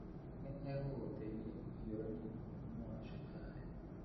Nĩ egũgũteithia kũhiũrania na mũrimũ wa cukari.